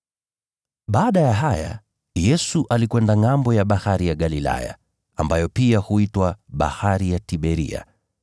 Baada ya haya, Yesu alikwenda ngʼambo ya Bahari ya Galilaya, ambayo pia huitwa Bahari ya Tiberia.